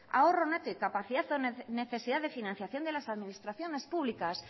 ahorro neto y capacidad o necesidad de financiación de las administraciones públicas